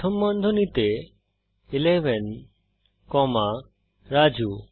প্রথম বন্ধনীতে 11 কমা রাজু